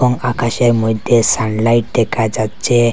আকাশের মইদ্যে সানলাইট দেখা যাচ্চে।